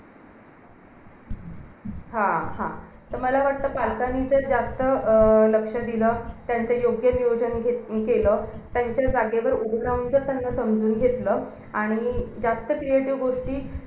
जे अभ्यास करतात ना ते अभ्यास अस नाही की हुशार पोरं कोण असतात की ते मस्ती पण बरोबर करतात या.